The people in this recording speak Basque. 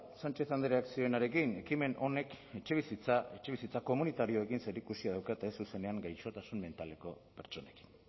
sánchez andreak zioenarekin ekimen honek etxebizitza etxebizitza komunitarioekin zerikusia daukate ez zuzenean gaixotasun mentaleko pertsonekin